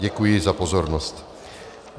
Děkuji za pozornost.